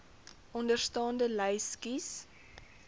onderstaande lys kies